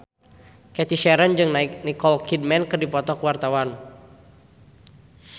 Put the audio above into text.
Cathy Sharon jeung Nicole Kidman keur dipoto ku wartawan